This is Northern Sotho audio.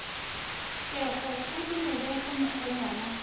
kego a dumele ge mokgonyana